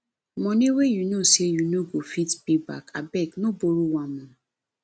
money wey you know say you no go fit pay back abeg no borrow am o